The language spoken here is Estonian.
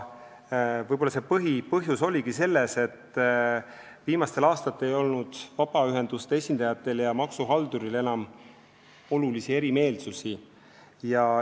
Võib-olla põhipõhjus oligi selles, et viimastel aastatel ei olnud vabaühenduste esindajatel ja maksuhalduril enam olulisi erimeelsusi.